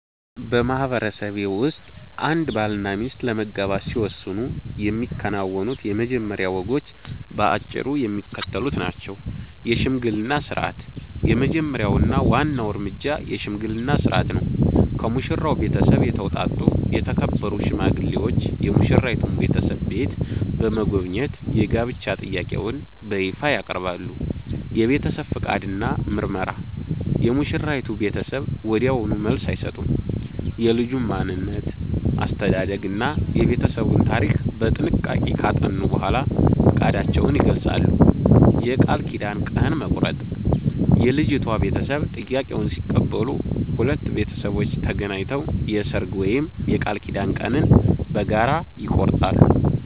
በማህበረሰቤ ውስጥ አንድ ባልና ሚስት ለመጋባት ሲወስኑ የሚከናወኑት የመጀመሪያ ወጎች በአጭሩ የሚከተሉት ናቸው፦ የሽምግልና ሥርዓት፦ የመጀመሪያው እና ዋናው እርምጃ የሽምግልና ሥርዓት ነው። ከሙሽራው ቤተሰብ የተውጣጡ የተከበሩ ሽማግሌዎች የሙሽራይቱን ቤተሰብ ቤት በመጎብኘት የጋብቻ ጥያቄውን በይፋ ያቀርባሉ። የቤተሰብ ፈቃድ እና ምርመራ፦ የሙሽራይቱ ቤተሰብ ወዲያውኑ መልስ አይሰጡም። የልጁን ማንነት፣ አስተዳደግ እና የቤተሰቡን ታሪክ በጥንቃቄ ካጠኑ በኋላ ፈቃዳቸውን ይገልጻሉ። የቃል ኪዳን ቀን መቁረጥ፦ የልጅቷ ቤተሰብ ጥያቄውን ሲቀበሉ፣ ሁለቱ ቤተሰቦች ተገናኝተው የሰርግ ወይም የቃል ኪዳን ቀንን በጋራ ይቆርጣሉ።